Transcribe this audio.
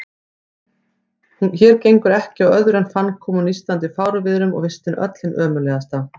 Hér gengur ekki á öðru en fannkomu og nístandi fárviðrum, og vistin öll hin ömurlegasta.